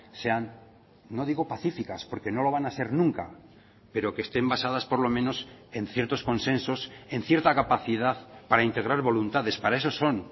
sean no digo pacíficas porque no lo van a ser nunca pero que estén basadas por lo menos en ciertos consensos en cierta capacidad para integrar voluntades para eso son